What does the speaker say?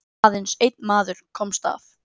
Aðeins einn maður komst af.